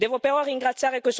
sono molti di questi episodi.